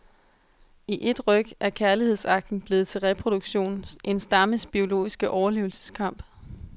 I ét ryk er kærlighedsakten blevet til reproduktion, en stammes biologiske overlevelseskamp.